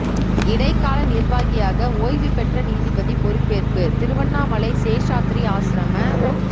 இடைக்கால நிர்வாகியாக ஓய்வு பெற்ற நீதிபதி பொறுப்பேற்பு திருவண்ணாமலை சேஷாத்திரி ஆஸ்ரம